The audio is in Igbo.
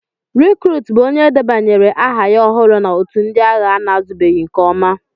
Rịkrut bụ onye e debanyere aha ya ọhụrụ na otù ndị agha ana-azụbeghị nke ọma.